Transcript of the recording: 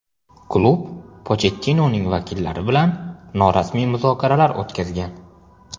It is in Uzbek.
Klub Pochettinoning vakillari bilan norasmiy muzokaralar o‘tkazgan.